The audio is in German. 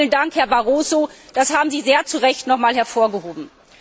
Auch da vielen Dank, Herr Barroso, das haben Sie sehr zu Recht nochmals hervorgehoben.